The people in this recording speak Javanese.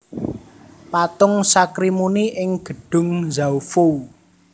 Patung Sakrimuni ing Gedhung Zhaofou